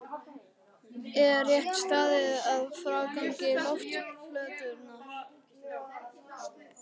Er rétt staðið að frágangi loftplötunnar?